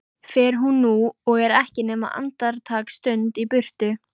Fer hún nú og er ekki nema andartaksstund í burtu.